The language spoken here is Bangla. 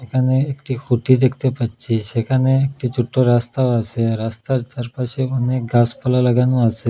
এখানে একটি খুঁটি দেখতে পাচ্ছি সেখানে একটি ছোট্টো রাস্তাও আসে রাস্তার চারপাশে অনেক গাসপালা লাগানো আসে।